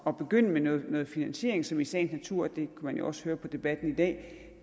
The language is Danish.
at begynde med noget finansiering som i sagens natur det man jo også høre på debatten i dag